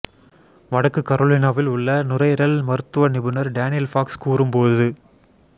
வடக்கு கரோலினாவில் உள்ள நுரையீரல் மருத்துவ நிபுணர் டேனியல் பாக்ஸ் கூறும்போது